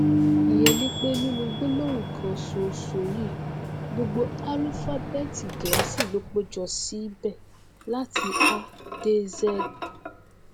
ìyẹn ni pé nínú gbólóhùn kan ṣoṣo yìí gbogbo álúfábẹẹtì gẹẹsì ló péjọ síbẹ láti a dé z